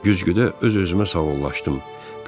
Güzgüdə öz-özümə sağollaşdım.